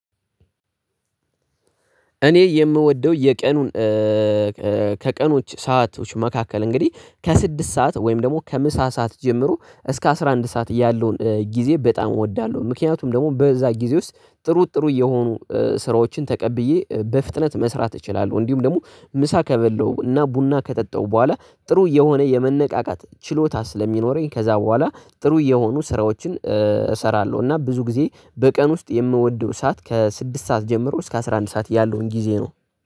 እኔ የምወደው የቀኑን ከቀኖች ሰአቶች መካከል እንግዲህ ከስድስት ሰዓት ወይም ደግሞ ከምሳ ሰዓት ጀምሮ እስከ አስራ አንድ ሰዓት ያለውን ጊዜ በጣም እወዳለሁ። ምክንያቱም ደግሞ በዛ ጊዜ ውስጥ ጥሩ ጥሩ እየሆኑ ስራዎችን ተቀብዬ በፍጥነት መስራት እችላለሁ። እንዲሁም ደግሞ ምሳ ከበለሁ እና ቡና ከጠጠሁ በኋላ ጥሩ የሆነ የመነቃቃት ችሎታ ስለሚኖረኝ ከዛ በኋላ ጥሩ የሆኑ ስራዎችን እሰራለሁ እና ብዙ ጊዜ በቀን ውስጥ የምወደው ሰዓት ከስድስት ሰዓት ጀምሮ እስከ አስራ አንድ ሰዓት ያለውን ጊዜ ነው።